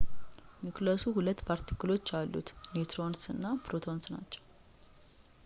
ኒውክለሱ ሁለት ፓርቲክሎች አሉት ኒውትሮንስ እና ፕሮቶንስ ናቸው